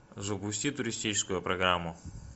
запусти туристическую программу